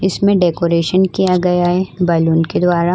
इसमें डेकोरेशन किया गया है बालून के द्वारा।